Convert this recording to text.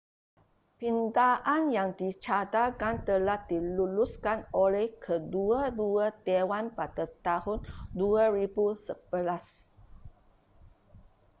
pindaan yang dicadangkan telah diluluskan oleh kedua-dua dewan pada tahun 2011